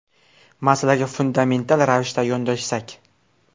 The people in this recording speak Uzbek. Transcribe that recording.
Masalaga fundamental ravishda yondashsak.